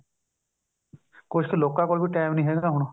ਕੁੱਝ ਲੋਕਾਂ ਕੋਲ ਵੀ time ਨਹੀ ਹੈਗਾ ਹੁਣ